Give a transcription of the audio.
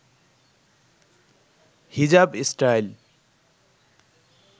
হিজাব স্টাইল